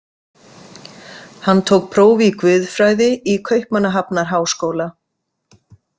Hann tók próf í guðfræði í Kaupmannahafnarháskóla.